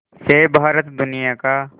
से भारत दुनिया का